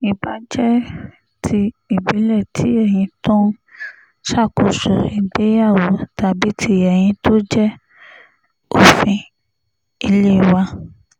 ìbáà jẹ́ ti ìbílẹ̀ tí èyí tó ń ṣàkóso ìgbéyàwó tàbí tí èyí tó jẹ́ òfin ilé wà